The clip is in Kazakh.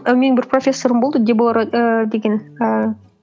і менің бір профессорым болды дебора ііі деген ііі